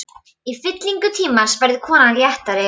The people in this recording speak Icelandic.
Í fyllingu tímans verður konan léttari.